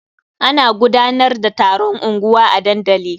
Ana gudanar da taron unguwa a dandali.